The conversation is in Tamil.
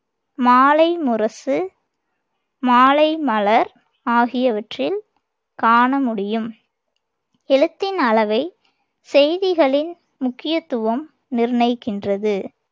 மாலைமுரசு, மாலைமலர் ஆகியவற்றில் காண முடியும். எழுத்தின் அளவை செய்திகளின் முக்கியத்துவம் நிர்ணயிக்கின்றது.